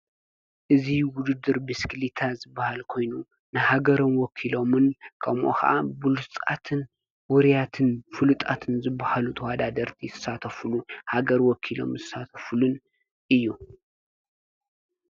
እዙይ ውድድር ብሽክሌታ ዝበሃል ኮይኑ ንሃገሮም ዎኪሎምን ከምኡኸዓ ብሉጻትን ውርያትን ፍሉጣትን ዝበሃሉ ተዋዳ ደርቲ ሳተፍሉ ሃገር ወኪሎም ዝሳተፍሉን እዩ።